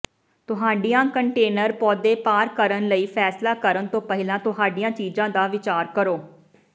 ਤੁਹਾਡੀਆਂ ਕੰਟੇਨਰ ਪੌਦੇ ਪਾਰ ਕਰਨ ਲਈ ਫੈਸਲਾ ਕਰਨ ਤੋਂ ਪਹਿਲਾਂ ਤੁਹਾਡੀਆਂ ਚੀਜ਼ਾਂ ਦਾ ਵਿਚਾਰ ਕਰੋ